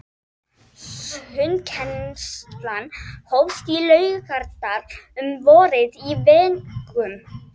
Sundkennsla hófst í Laugardal um vorið á vegum